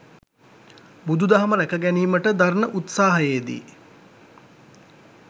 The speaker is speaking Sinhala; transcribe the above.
බුදු දහම රැකගැනීමට දරණ උත්සාහයේදී